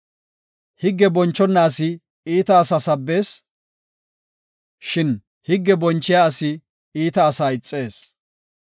Higge bonchona asi iita asaa sabbees; shin higge bonchiya asi iita asaa ixees.